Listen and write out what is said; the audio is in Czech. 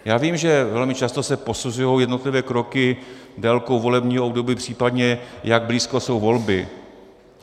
Já vím, že velmi často se posuzují jednotlivé kroky délkou volebního období, případně jak blízko jsou volby.